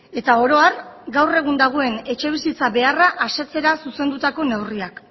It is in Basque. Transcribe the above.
eta oro har gaur egun dagoen etxebizitza beharra asetzera zuzendutako neurriak